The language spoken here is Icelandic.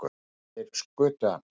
Þeir skutu hann